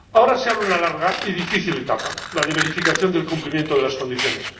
Ahora se abre una larga y difícil etapa la de verificación del cumplimiento de las condiciones.